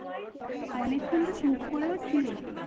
অনেকক্ষণতো চুপ করেও ছিলিস।